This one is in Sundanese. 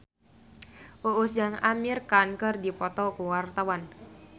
Uus jeung Amir Khan keur dipoto ku wartawan